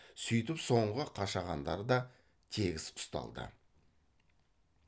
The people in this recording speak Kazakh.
сүйтіп соңғы қашағандар да тегіс ұсталды